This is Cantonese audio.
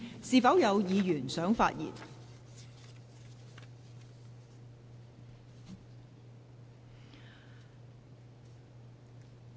是否有委員想發言？